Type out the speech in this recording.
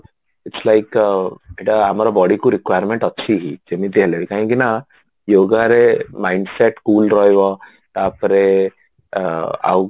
its like ଏଇଟା ଆମର bodyକୁ requirement ଅଛି ଯିମିତି ହେଲେ ବି କାହିଁକି ନାଁ yogaରେ mind set cool ରହିବ ତାପରେ ଆଉ